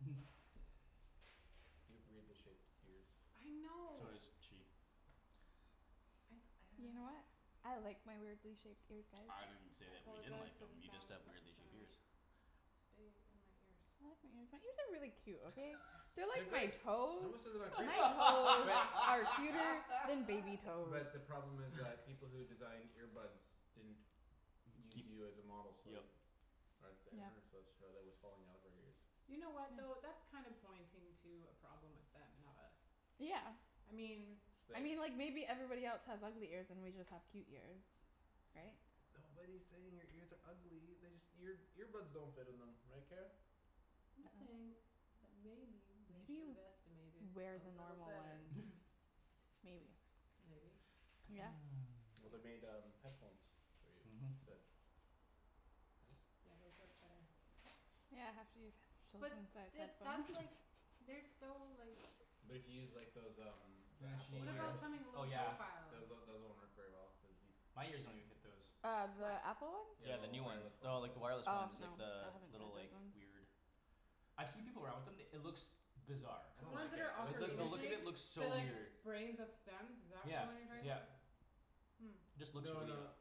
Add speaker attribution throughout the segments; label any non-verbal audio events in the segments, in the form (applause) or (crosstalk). Speaker 1: (laughs) So does she.
Speaker 2: I didn't say that we didn't like them. You just have weirdly shaped ears. They are great. (inaudible)
Speaker 1: (laughs)
Speaker 2: But the problem is like people who designed ear buds didn't Use
Speaker 1: Keep
Speaker 2: you as a model
Speaker 1: yep
Speaker 2: so (laughs) (noise) (inaudible) headphones
Speaker 1: Mhm
Speaker 2: that But to use like those um (inaudible)
Speaker 1: Then
Speaker 2: Those
Speaker 1: she
Speaker 2: um
Speaker 1: uh oh yeah.
Speaker 2: those one worked very well cuz
Speaker 1: My ears don't even fit those. Yeah the new ones. No like the wireless ones
Speaker 2: (inaudible)
Speaker 1: like the little like weird I've see people around with them it looks Bizarre. Like the look of it looks so weird. Yeah yep. Just looks really uh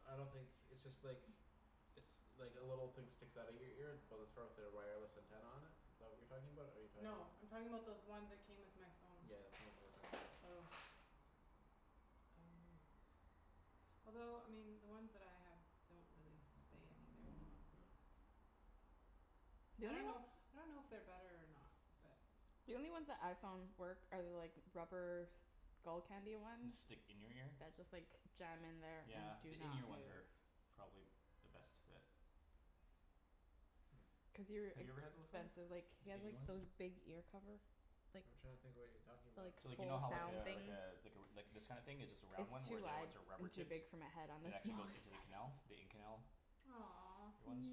Speaker 1: And stick in your ear? Yeah the in ear ones are probably the best fit. Have you ever had them before? The in ear ones? So like you know how like uh like uh like this kinda thing is just a round one where the other ones are rubber tipped? And actually goes into the canal? The in canal? Ear ones?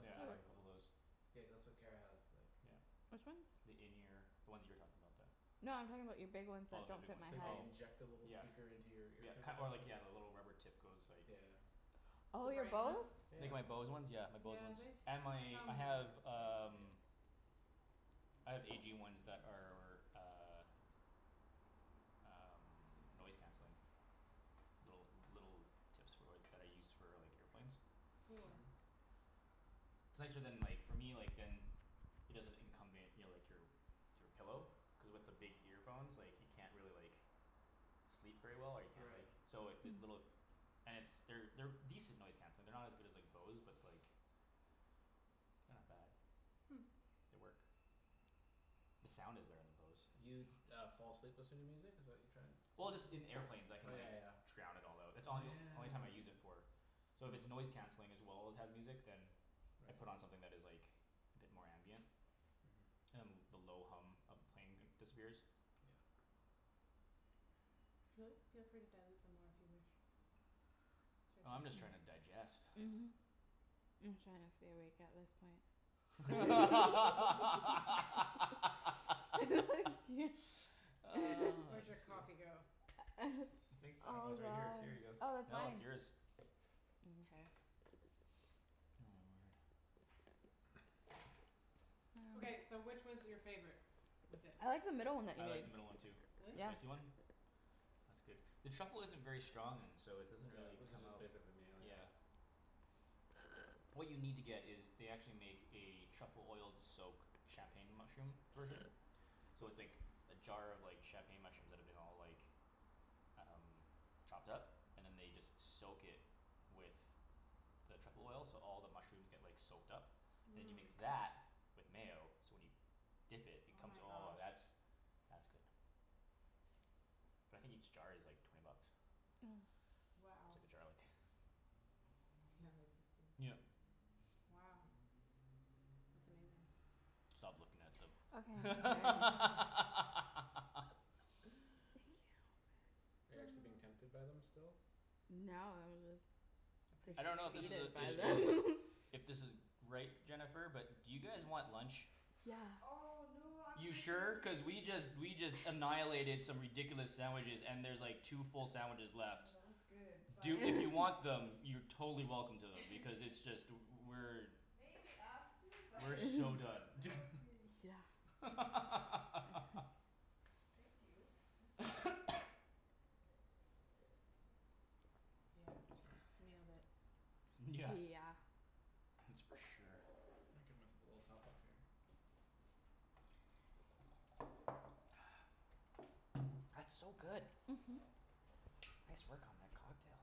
Speaker 1: Yeah I have a couple o' those. Yeah. The in ear. The ones you were talking about that Oh my big ones oh Yeah yeah ki- or like yeah the rubber tip goes like Like my Bose ones yeah my Bose ones and my I have um I have A G ones that are uh Um noise canceling. Little little tips for work that I use for like airplanes. It's nicer than like for me like than It doesn't incumbent your like your Your pillow. Cuz with your big earphones like you can't really like Sleep very well or you can't like so if they little And it's they're they're decent noise canceling. They're not as good as like Bose but like They're not bad. They work. The sound is better than Bose. Well just in airplanes I can like drown it all out. It's all yo- only time I use it for. So if it's noise canceling as well as has music then I put on something that is like a bit more ambient. And the low hum of the plane disappears. Oh I'm just trying to digest. (laughs) (noise) I could sleep. I think it's I kno- oh it's right here here you go no it's yours. (noise) word I like the middle one too. The spicy one? It's good. The truffle isn't very strong and so it doesn't really come out. Yeah. What you need to get is they actually make a truffle oiled soak champagne mushroom version. So it's like a jar of champagne mushrooms that have been all like Um chopped up? And then they just soak it with The truffle oil so all the mushrooms get like soaked up And you mix that with mayo so when you Dip it, it comes oh that's that's good But I think each jar is like twenty bucks. It's like a jar like Yep Stop looking at them. (laughs) I don't know if this is a it is If this is right, Jennifer, but do you guys want lunch? You sure? Cuz we just we just annihilated some ridiculous sandwiches and there's like two full sandwiches left. Do if you want them you're totally welcome to them because it's just we're We're so done (laughs) (laughs) (noise) YEah That's for sure. (noise) That's so good. Nice work on that cocktail.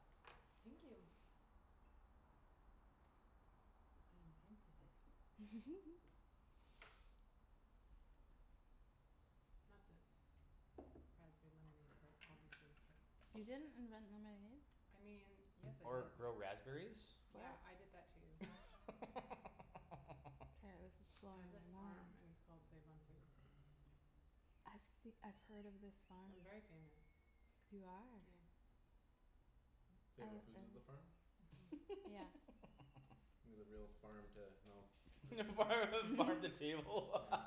Speaker 1: Or grow raspberries? (laughs) (laughs) Yeah farm the farm the table (laughs)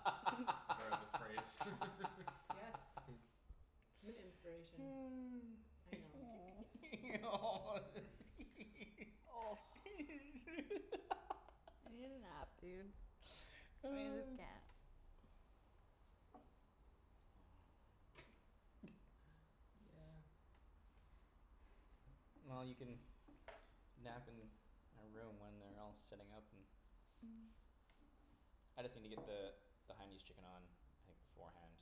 Speaker 1: (noise) (laughs) (noise) Well you can nap in a room when they're all setting up and I just needa get the The Hainanese chicken on like beforehand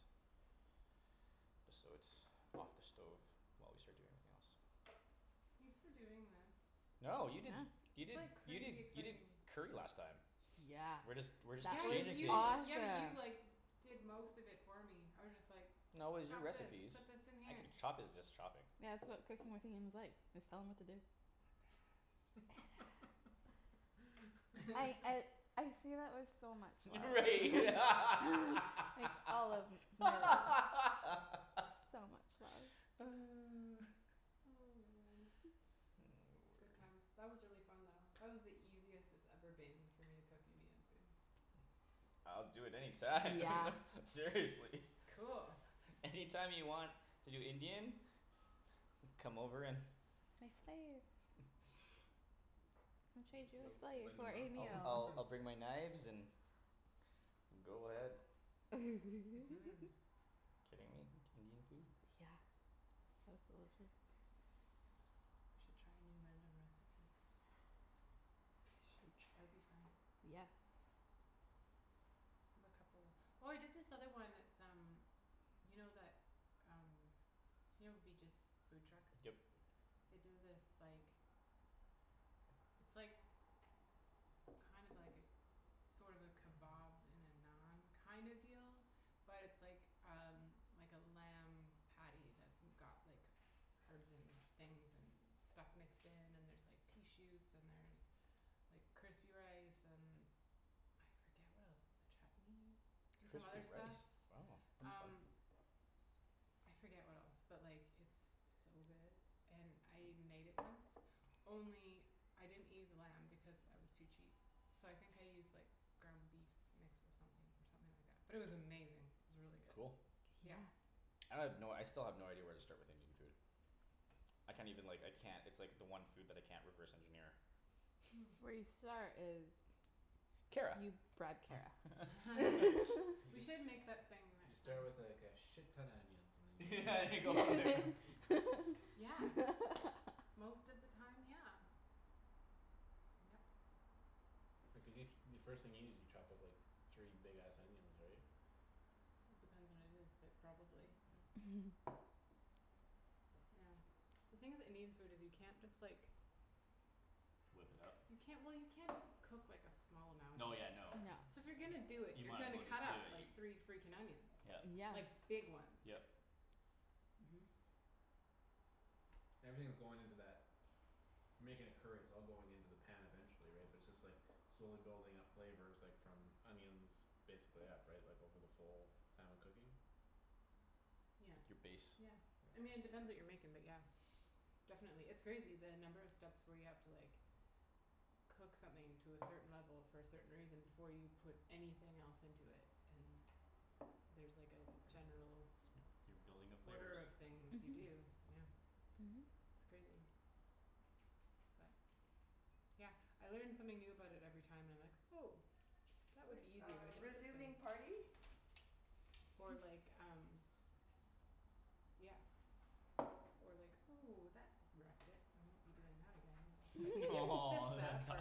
Speaker 1: Just so it's off the stove while we start doing everything else. No you did you did you did you did curry last time. We're just we're just exchanging things. No it was your recipes. I can chopping is just chopping. Right (laughs) (noise) (noise) word I'll do it any time (laughs) Seriously. Any time you want to do Indian. Come over and I'll I'll I'll bring my knives and go ahead. Kidding me? Indian food? Yep Crispy rice wow that's fun Cool I have no I still have no idea where to start with Indian food. I can't even like I can't it's like the one food that I can't reverse engineer. Kara. (laughs) (laughs) and go from there. Whip it up? No yeah no You might as well just do it you Yep. Yep. It's like your base. You're building the flavors.
Speaker 3: Or
Speaker 4: (noise)
Speaker 3: like um Yeah Or like, "Ooh that wrecked it I won't be doing that again." It's
Speaker 1: (laughs)
Speaker 3: like skips this
Speaker 1: Oh that
Speaker 3: stuff
Speaker 1: sucks.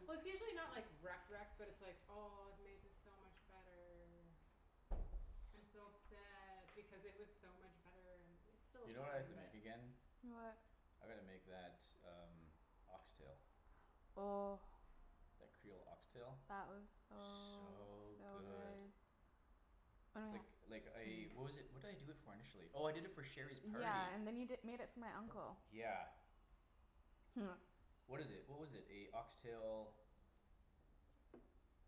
Speaker 3: for Well it's usually not like wrecked wrecked but it's like, "Oh I've made this so much better" "I'm so upset because it was so much better." It's still
Speaker 1: You know what I have
Speaker 3: fine
Speaker 1: to
Speaker 3: but
Speaker 1: make again?
Speaker 4: What?
Speaker 1: I gotta make that um ox tail.
Speaker 4: Oh
Speaker 1: That creole ox tail?
Speaker 4: That was so
Speaker 1: So
Speaker 4: so
Speaker 1: good.
Speaker 4: good Oh
Speaker 1: Like
Speaker 4: yeah
Speaker 1: like I what was it what did i do it for initially? Oh I did it for Sherry's party.
Speaker 4: Yeah and then you di- made it for my uncle
Speaker 1: Yeah.
Speaker 4: (laughs)
Speaker 1: What is it? What was it? A ox tail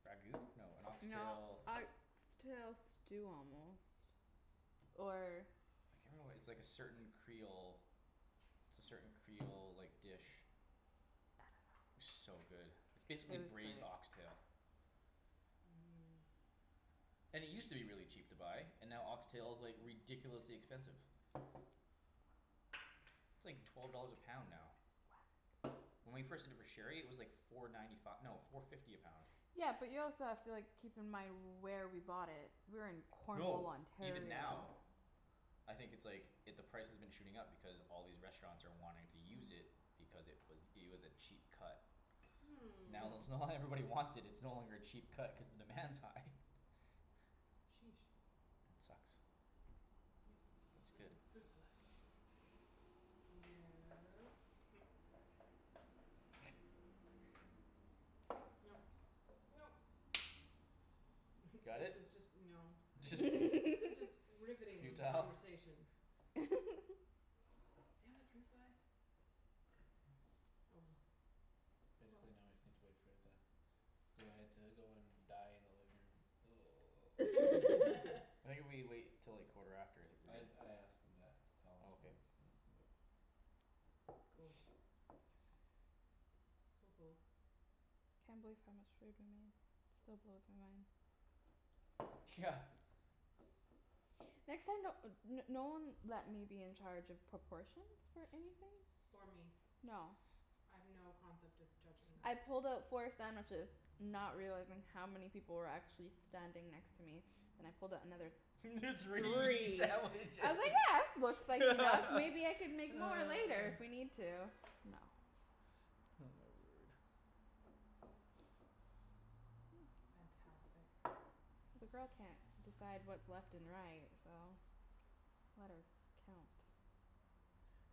Speaker 1: Ragout? No a ox tail
Speaker 4: No ox tail stew almost Or
Speaker 1: I can't (noise) It's like a certain creole it's a certain creole like dish. So good. It's
Speaker 4: It
Speaker 1: basically
Speaker 4: was good.
Speaker 1: braised ox tail.
Speaker 3: (noise)
Speaker 1: And it used to be really cheap to buy and now ox tail is like ridiculously expensive. It's like twelve dollars a pound now. When we first did it for Sherry it was like four ninety fi- no four fifty a pound.
Speaker 4: Yeah but you also have to like keep in mind where we bought it. We were in Cornwall,
Speaker 1: No, even
Speaker 4: Ontario.
Speaker 1: now I think it's like i- the price has been shooting up because all these restaurants are wanting to use it Because it was it was a cheap cut.
Speaker 3: Hmm
Speaker 1: Now let's now that everybody wants it it's no longer a cheap cut cuz the demand's high.
Speaker 3: Sheesh
Speaker 1: It sucks.
Speaker 3: Yep.
Speaker 1: It's
Speaker 3: Left
Speaker 1: good.
Speaker 3: in fruit fly. No (noise) Nope nope (laughs)
Speaker 1: Got
Speaker 3: This
Speaker 1: it?
Speaker 3: is just no (laughs)
Speaker 1: (laughs)
Speaker 3: this is just
Speaker 4: (laughs)
Speaker 3: riveting
Speaker 1: Futile?
Speaker 3: conversation.
Speaker 4: (laughs)
Speaker 3: Damn it fruit fly. Oh well. Oh well.
Speaker 2: Basically now I just need to wait for it to Go ahead to go and die in the living room
Speaker 4: (laughs)
Speaker 2: (noise) (laughs)
Speaker 3: (laughs)
Speaker 1: I think if we wait 'til like quarter after I think we're
Speaker 2: I
Speaker 1: good.
Speaker 2: I asked them that to tell us
Speaker 1: Okay.
Speaker 2: when when we can go
Speaker 3: Cool Cool cool
Speaker 4: Can't believe how much food we made. Still blows my mind.
Speaker 1: Yeah
Speaker 4: Next time don't uh no one let me be in charge of proportions for anything.
Speaker 3: Or me
Speaker 4: No
Speaker 3: I have no concept of judging
Speaker 4: I
Speaker 3: that.
Speaker 4: pulled out four sandwiches Not realizing how many people were actually standing next to me. Then I pulled out another
Speaker 1: (laughs) Three
Speaker 4: three. I
Speaker 1: sandwiches.
Speaker 4: was like yeah this looks like
Speaker 1: (laughs)
Speaker 4: enough maybe I could make more later if we
Speaker 1: (noise)
Speaker 4: need to. No.
Speaker 1: Oh my word.
Speaker 3: Fantastic.
Speaker 4: The girl can't decide what's left and right so let her count.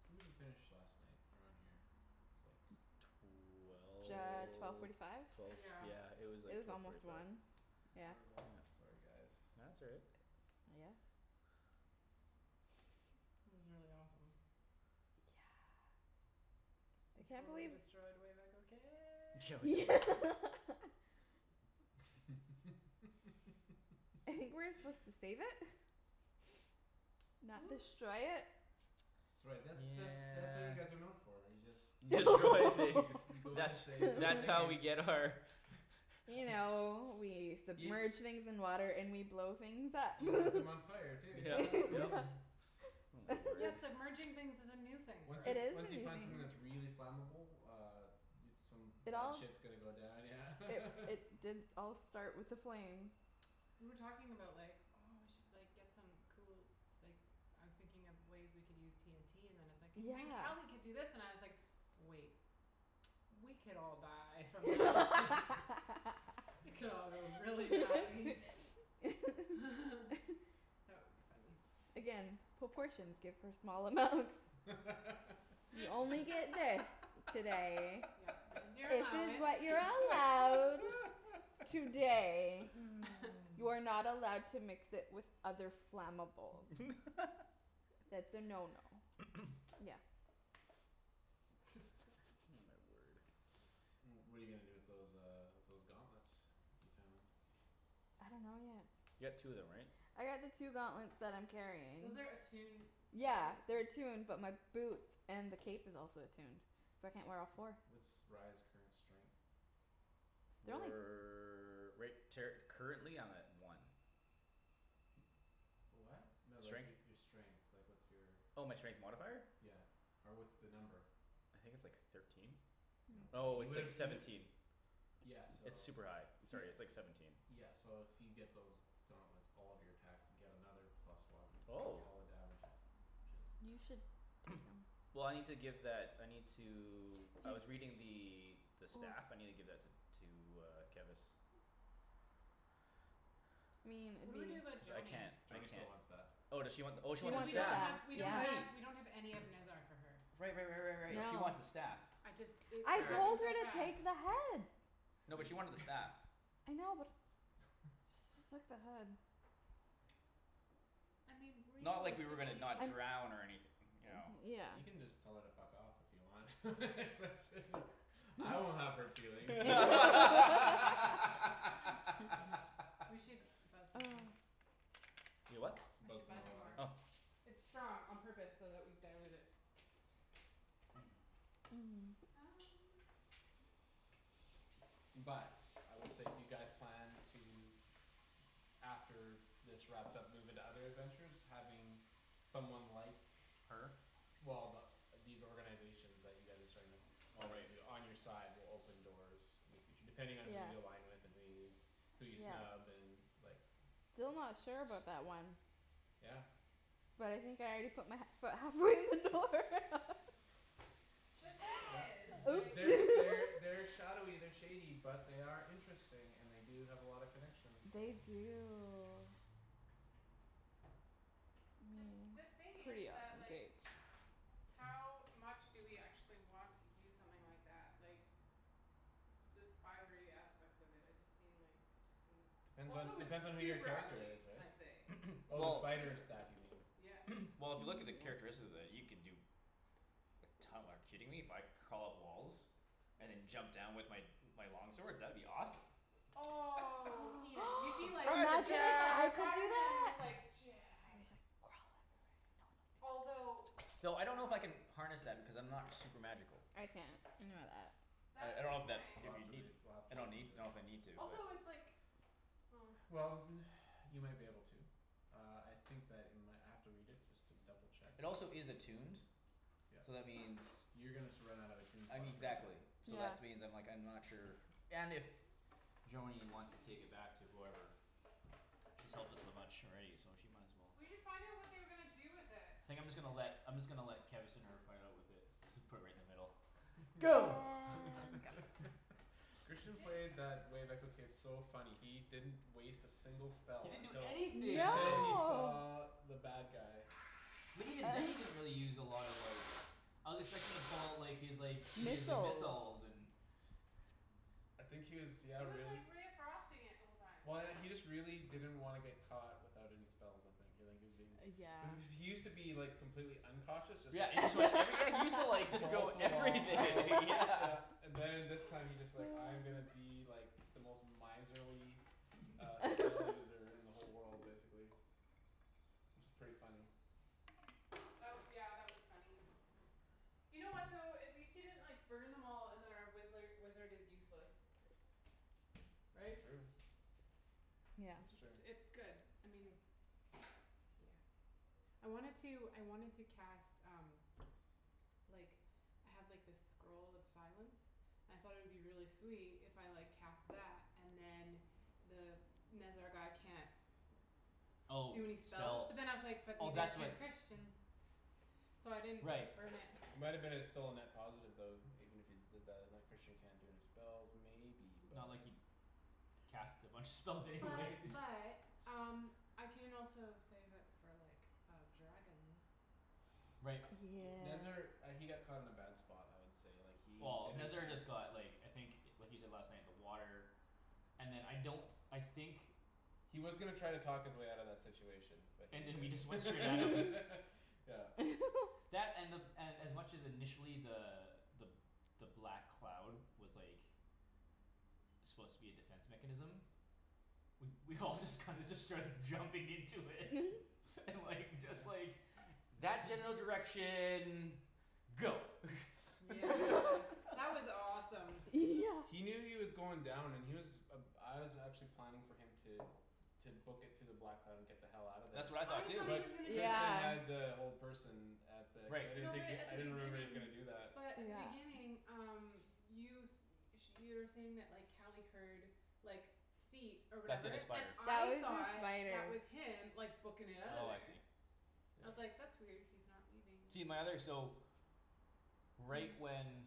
Speaker 2: When did we finish last night around here? It's like Could
Speaker 4: J-
Speaker 2: be
Speaker 4: twelve forty five?
Speaker 1: Twelve twelve
Speaker 3: Yeah
Speaker 1: yeah it was
Speaker 4: It
Speaker 1: like
Speaker 4: was
Speaker 1: twelve forty
Speaker 4: almost
Speaker 1: five.
Speaker 4: one, yeah.
Speaker 2: Brutal.
Speaker 1: Nope
Speaker 2: Sorry guys
Speaker 1: No that's all right.
Speaker 4: Uh yeah
Speaker 3: This is really awesome.
Speaker 4: Yeah I
Speaker 3: We
Speaker 4: can't
Speaker 3: totally
Speaker 4: believe
Speaker 3: destroyed Wave Echo
Speaker 1: Yeah
Speaker 3: Cave.
Speaker 1: like (inaudible)
Speaker 4: (laughs) I think
Speaker 2: (laughs)
Speaker 4: we were supposed to save it Not
Speaker 3: Oops
Speaker 4: destroy it.
Speaker 2: That's right that's that's that's what you guys are known
Speaker 1: Yeah
Speaker 2: for, you just You
Speaker 1: Destroy things.
Speaker 2: go you go into
Speaker 1: That's
Speaker 2: space and
Speaker 1: that's
Speaker 2: all
Speaker 1: how we
Speaker 2: you
Speaker 4: (laughs)
Speaker 2: need
Speaker 1: get our
Speaker 3: (laughs)
Speaker 1: (noise)
Speaker 4: You know we
Speaker 2: Y-
Speaker 4: submerge things in water and we blow things up
Speaker 2: You light them on fire too
Speaker 1: Yep yep.
Speaker 2: yeah (laughs)
Speaker 1: Oh my word.
Speaker 3: Yeah
Speaker 4: (laughs)
Speaker 3: submerging things is a new thing for
Speaker 2: Once
Speaker 3: us.
Speaker 2: you
Speaker 4: It is a
Speaker 2: once you
Speaker 4: new
Speaker 2: find something that's
Speaker 4: thing.
Speaker 2: really flammable uh Dude some
Speaker 4: It
Speaker 2: bad
Speaker 4: all
Speaker 2: shit's gonna go down yeah
Speaker 4: It
Speaker 2: (laughs)
Speaker 4: it did all start with a flame.
Speaker 3: We were talking about like, "Oh we should like get some cool s- like" I was thinking of ways we can use TNT and then it's like "Then
Speaker 4: Yeah.
Speaker 3: Cali could do this" and I was like, "Wait" "We could all die from that" (laughs) "It could all go really badly" (laughs)
Speaker 4: (laughs)
Speaker 3: That would be funny.
Speaker 4: Again, proportions good for small amounts. You only get this today.
Speaker 3: Yeah. This is your
Speaker 4: This is
Speaker 3: allowance.
Speaker 4: what you're allowed today.
Speaker 3: (noise)
Speaker 2: (laughs)
Speaker 4: You are not allowed to mix it with other flammables. That's a no no.
Speaker 2: (noise)
Speaker 4: Again.
Speaker 1: Oh
Speaker 3: (laughs)
Speaker 1: my word.
Speaker 2: Well what're you gonna do with those um those gauntlets you found?
Speaker 4: I dunno yet.
Speaker 1: You got two of them right?
Speaker 4: I got the two gauntlets that I'm carrying.
Speaker 3: Those are attuned right?
Speaker 4: Yeah they're attuned but my boots and the cape is also attuned so I can't wear all four.
Speaker 2: What's Rye's current strength?
Speaker 4: They're only
Speaker 1: We're right ter- currently I'm at one.
Speaker 2: (noise) What? No like
Speaker 1: Strength?
Speaker 2: your your strength, like what's your
Speaker 1: Oh my strength modifier?
Speaker 2: Yeah or what's the number?
Speaker 1: I think it's like thirteen?
Speaker 2: No
Speaker 1: Oh
Speaker 2: you
Speaker 1: it's like
Speaker 2: would've you
Speaker 1: seventeen.
Speaker 2: di- Yeah so
Speaker 1: It's
Speaker 2: all
Speaker 1: super high.
Speaker 2: right
Speaker 1: Sorry it's like seventeen.
Speaker 2: Yeah so if you get those Gauntlets, all of your (inaudible) and get another plus one cuz
Speaker 1: Oh
Speaker 2: all the damage is
Speaker 4: You should take 'em
Speaker 1: (noise) Well I need to give that I need to I
Speaker 4: He
Speaker 1: was reading the the
Speaker 4: Oh
Speaker 1: stuff. I need to give that to to uh Kevus.
Speaker 4: I mean
Speaker 3: What
Speaker 4: it'd
Speaker 3: do we do about
Speaker 4: be
Speaker 1: Cuz I
Speaker 3: Joany?
Speaker 1: can't I
Speaker 2: Joany still
Speaker 1: can't
Speaker 2: wants that
Speaker 1: Oh does she want
Speaker 4: She wants
Speaker 1: the oh she
Speaker 4: the
Speaker 1: wants
Speaker 3: Cuz
Speaker 1: the
Speaker 3: we don't
Speaker 1: staff.
Speaker 3: have
Speaker 4: staff
Speaker 3: we don't
Speaker 4: yeah
Speaker 3: have
Speaker 1: Right.
Speaker 3: we don't have any of Nezzar for her.
Speaker 1: Right right right right right she
Speaker 2: Yep.
Speaker 1: wants the
Speaker 4: No
Speaker 1: staff.
Speaker 3: I just it
Speaker 4: I
Speaker 3: it
Speaker 1: All right.
Speaker 4: told
Speaker 3: happened
Speaker 4: her
Speaker 3: so
Speaker 4: to
Speaker 3: fast.
Speaker 4: take the head.
Speaker 2: You
Speaker 1: No, but she
Speaker 2: did.
Speaker 1: wanted the staff.
Speaker 4: I know but
Speaker 2: (laughs)
Speaker 4: she took the head
Speaker 3: I mean
Speaker 1: Not like we were gonna
Speaker 3: realistically.
Speaker 1: not
Speaker 4: And
Speaker 1: drown or anyth- you know.
Speaker 4: Yeah
Speaker 2: You can just tell her to fuck off if you want (laughs) Cuz I shouldn't've I won't have hurt feelings
Speaker 4: (laughs)
Speaker 1: (laughs)
Speaker 3: We should
Speaker 2: (laughs)
Speaker 3: buzz some more.
Speaker 4: (noise)
Speaker 1: Y- what?
Speaker 3: I
Speaker 2: Buzz
Speaker 3: should
Speaker 2: some
Speaker 3: buzz
Speaker 2: more
Speaker 3: some more.
Speaker 1: Oh
Speaker 2: water
Speaker 3: It's strong on purpose so that we dilute it.
Speaker 1: (noise)
Speaker 4: (noise)
Speaker 3: (noise)
Speaker 2: But I will say if you guys plan to After this wrapped up move into other adventures having Someone like
Speaker 1: Her?
Speaker 2: Well th- the these organizations (inaudible) you guys are starting up
Speaker 1: Oh
Speaker 2: On you
Speaker 1: right.
Speaker 2: to on your side will open doors In the future depending
Speaker 4: Yeah
Speaker 2: on who you align with and who you Who you
Speaker 4: Yeah
Speaker 2: snub and like
Speaker 4: still not sure about that one
Speaker 2: Yeah
Speaker 4: But I think I already put my he- foot halfway in the door (laughs)
Speaker 3: The thing
Speaker 2: Yeah.
Speaker 4: (laughs)
Speaker 3: is like
Speaker 4: Oops
Speaker 2: There's
Speaker 4: (laughs)
Speaker 2: They're shadowy they're shady but they are Interesting and they do have a lot of connections so
Speaker 4: They do I
Speaker 3: The th-
Speaker 4: mean
Speaker 3: the thing is
Speaker 4: pretty
Speaker 3: that
Speaker 4: awesome
Speaker 3: like
Speaker 4: cape.
Speaker 2: (noise)
Speaker 3: How
Speaker 1: (noise)
Speaker 3: much do we actually want to use something like that? Like The spidery aspects of it I just seem like it just seems
Speaker 2: Depends on
Speaker 3: Also it's
Speaker 2: depends on who your
Speaker 3: super
Speaker 2: character
Speaker 3: ugly
Speaker 2: is
Speaker 3: can
Speaker 2: right?
Speaker 3: i say?
Speaker 1: (noise)
Speaker 3: It's
Speaker 2: Oh the
Speaker 1: Well
Speaker 2: spider
Speaker 3: super.
Speaker 2: staff you mean
Speaker 3: Yeah
Speaker 1: (noise) Well if you look at the characteristics of it you can do Like to- like kidding me? If I crawl up walls? And then jump down with my my long swords? That would be awesome.
Speaker 4: (noise)
Speaker 3: Oh
Speaker 4: Imagine
Speaker 3: Ian you'd be
Speaker 4: if
Speaker 3: like
Speaker 1: Surprise
Speaker 4: I
Speaker 3: you'd be like
Speaker 4: could
Speaker 1: attack.
Speaker 4: do
Speaker 3: Spiderman with
Speaker 4: that
Speaker 3: like "Jab"
Speaker 4: I just like crawl up
Speaker 3: Although
Speaker 4: and no one else (inaudible) (noise)
Speaker 1: Thought I don't know if
Speaker 3: wow
Speaker 1: I can harness that because I'm not super magical.
Speaker 4: I can't I know that
Speaker 1: I
Speaker 3: That's a
Speaker 1: I don't
Speaker 3: good
Speaker 1: know if that
Speaker 2: We'll
Speaker 3: point.
Speaker 1: if
Speaker 2: have
Speaker 1: you
Speaker 2: to
Speaker 1: need
Speaker 2: read we'll have to
Speaker 1: I don't
Speaker 2: read
Speaker 1: need know if I
Speaker 2: from the
Speaker 1: need to but
Speaker 3: Also it's like oh
Speaker 2: Well n- (noise) you might be able to Uh I think that in my I might have to read it just to double check uh
Speaker 1: It also is attuned
Speaker 2: Yep
Speaker 1: So that means
Speaker 2: You're gonna sur- run out of a
Speaker 1: I mean
Speaker 2: tombstock pretty
Speaker 1: exactly
Speaker 2: clue
Speaker 1: so that
Speaker 4: Yeah
Speaker 1: which means like I'm not sure and if Joany wants to take it back to whoever She's helped us so much already so she might as well
Speaker 3: We should find out what they were gonna do with it.
Speaker 1: Think I'm just gonna let I'm just gonna let Kevus and Herb fight out with it. Just put it in the middle
Speaker 4: And
Speaker 1: Go
Speaker 2: (laughs) Christian
Speaker 3: Di-
Speaker 2: played that Wave Echo case so funny. He didn't Waste a single
Speaker 1: He
Speaker 2: spell
Speaker 1: didn't do
Speaker 2: until
Speaker 1: anything that
Speaker 2: Until he
Speaker 1: day.
Speaker 4: No
Speaker 2: saw the bad guy.
Speaker 1: But even then he
Speaker 4: (noise)
Speaker 1: didn't really use a lot of like I was expecting him to pull out like his like his
Speaker 4: Missiles
Speaker 1: missiles and
Speaker 2: I think he was yeah
Speaker 3: He was
Speaker 2: really
Speaker 3: like ray of frosting it the whole time.
Speaker 2: Well I know he just really didn't wanna get caught without any spells I think he was being
Speaker 4: Uh
Speaker 2: (noise)
Speaker 4: yeah
Speaker 2: He used to be like complete uncautious just
Speaker 1: Yeah
Speaker 2: like
Speaker 1: and he like I re- yeah he used to just like go
Speaker 2: Balls to the wall
Speaker 1: everything
Speaker 2: I'll
Speaker 1: yeah
Speaker 2: yeah
Speaker 1: (laughs)
Speaker 4: (laughs)
Speaker 2: And then this time he's just like I'm gonna be like The most miserly
Speaker 1: (laughs)
Speaker 2: uh spell
Speaker 4: (laughs)
Speaker 2: user in the whole world basically. Which is pretty funny.
Speaker 3: That w- yeah that was funny. You know what though? At least he didn't like burn them all and then wizzler wizard is useless. Right?
Speaker 2: True.
Speaker 4: Yeah
Speaker 2: That's
Speaker 3: It's
Speaker 2: true.
Speaker 3: it's good. I mean Yeah. I wanted to I wanted to cast um like I have like this scroll of silence I thought it would be really sweet if I like cast that and then The Nezzar guy can't
Speaker 1: Oh
Speaker 3: Do any spells.
Speaker 1: spells.
Speaker 3: But then I was like, "That
Speaker 1: Oh
Speaker 3: means that
Speaker 1: that's what
Speaker 3: can Christian" So I didn't
Speaker 1: Right
Speaker 3: burn it.
Speaker 2: It might've been a still a net positive even if you did that like Christian can't do any spells maybe but
Speaker 1: Not like he'd Cast a bunch of spells anyways
Speaker 3: But but um I can also save it for like a dragon.
Speaker 1: Right.
Speaker 2: Nezzar
Speaker 4: Yeah
Speaker 2: uh he got caught in a bad spot I would say like he
Speaker 1: Well
Speaker 2: didn't
Speaker 1: Nezzar
Speaker 2: have
Speaker 1: just got like I think what he said last night the water And then I don't I think
Speaker 2: He was gonna try and talk his way outta that situation But he
Speaker 1: And then we just went straight at him.
Speaker 2: didn't (laughs) Yeah
Speaker 4: (laughs)
Speaker 1: That and the and as much initially the the the black cloud was like Supposed to be a defense mechanism We we all just kinda just started jumping into it
Speaker 4: (laughs)
Speaker 1: and like just like
Speaker 2: (noise)
Speaker 1: That general direction go (laughs)
Speaker 3: Yeah
Speaker 4: (laughs)
Speaker 3: that was awesome.
Speaker 4: Yeah
Speaker 2: He knew he was going down and he was Uh I was actually planning for him to To book it to the black and get the hell outta there
Speaker 1: That's
Speaker 3: Oh
Speaker 1: what I thought
Speaker 3: I
Speaker 2: too
Speaker 1: too.
Speaker 3: thought he was gonna
Speaker 2: But
Speaker 3: do
Speaker 2: Christian
Speaker 4: Yeah
Speaker 3: that.
Speaker 2: had the whole person At the I
Speaker 1: Right.
Speaker 2: didn't
Speaker 3: No but
Speaker 2: think he
Speaker 3: at
Speaker 2: I
Speaker 3: the
Speaker 2: didn't (inaudible) he was
Speaker 3: beginning
Speaker 2: gonna do that.
Speaker 3: but
Speaker 4: But
Speaker 3: at the
Speaker 4: yeah
Speaker 3: beginning um You s- sh- you were saying that like Cali heard like feet Or
Speaker 1: That (inaudible) the
Speaker 3: whatever, and
Speaker 1: spider.
Speaker 4: That
Speaker 3: I
Speaker 4: was a
Speaker 3: thought
Speaker 4: spider.
Speaker 3: that was him like bookin' it outta
Speaker 1: Oh I see.
Speaker 3: there. I was
Speaker 2: Yeah
Speaker 3: like, "That's weird, he's not leaving."
Speaker 1: See my other so Right when